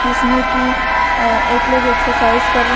जिसमें की अ एक लोग एक्सरसाइज कर रहे--